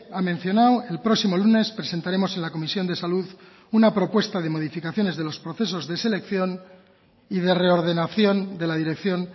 ha mencionado el próximo lunes presentaremos en la comisión de salud una propuesta de modificaciones de los procesos de selección y de reordenación de la dirección